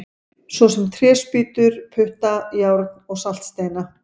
Svo sem tréspýtur, putta, járn og saltsteina!